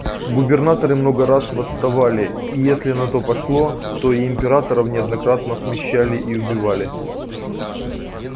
губернаторы много раз восставали и если на то пошло то и императоров неоднократно смещали и убивали